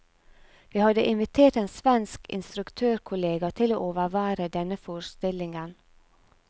Vi hadde invitert en svensk instruktørkollega til å overvære denne forestillingen.